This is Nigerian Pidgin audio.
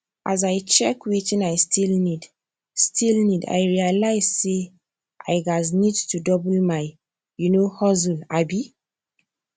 as i check wetin i still need still need i realise say i gas need to double my you no hustle um